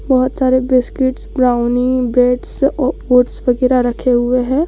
बहोत सारे biscuits brownie breads oats वगैरा रखें हुए हैं।